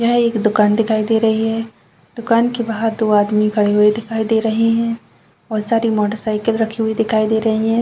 यह एक दुकान दिखाई दे रही रही है दुकान के बाहर दो आदमी खड़े हुए दिखाई दे रहे है बहुत सारी मोटरसाइकिल रखी हुई दिखाई दे रही है।